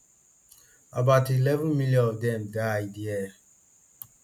about eleven million of dem died dere